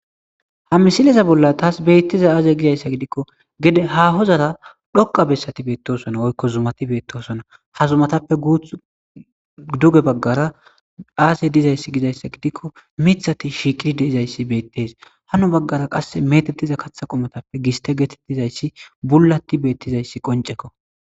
Ha misileza bolla taas beettiza aazey gizayssa gidikko gede ha hozara dhoqa bessati beettosona oykko zumati beettosona ha zumatappe guuth duge baggara aazey dizayssi gizayssa gidikko mithati shiiqiri deizayssi beettes hano baggara qasse metettiza katha qomotappe giste getettizayssi bullati beettizayssi qoncekko